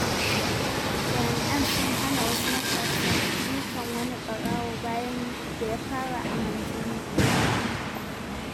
Jama'a sun hana wasu matasa dukan wani ɓarawo bayan da ya fara aman jini.